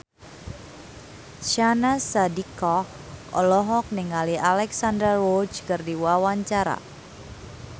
Syahnaz Sadiqah olohok ningali Alexandra Roach keur diwawancara